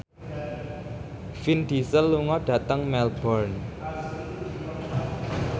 Vin Diesel lunga dhateng Melbourne